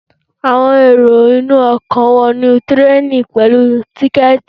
Àwọn èrò ọkọ̀ wọnú tireni pẹ̀lú tíkẹ̀tì